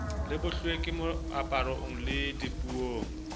le bohlweki moaparong le dipuong